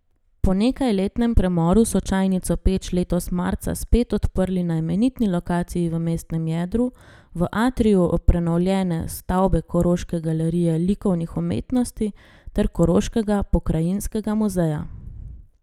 Po nekajletnem premoru so Čajnico Peč letos marca spet odprli na imenitni lokaciji v mestnem jedru, v atriju prenovljene stavbe Koroške galerije likovnih umetnosti ter Koroškega pokrajinskega muzeja.